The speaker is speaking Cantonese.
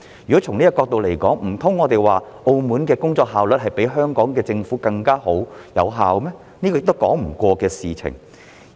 如果從這個角度而言，難道我們要說澳門政府比香港政府更有工作效率、更具成效嗎？